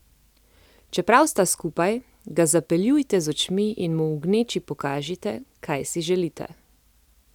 Čeprav sta skupaj, ga zapeljujte z očmi in mu v gneči pokažite, kaj si želite.